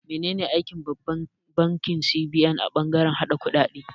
Menene aikin Babban bankin Nigeria (CBN) a bangaren hada-hadar kuɗaɗe?